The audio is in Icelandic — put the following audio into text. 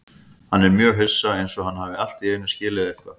Hann er mjög hissa, einsog hann hafi allt í einu skilið eitthvað.